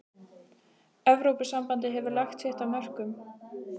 Evrópusambandið hefur lagt sitt af mörkum.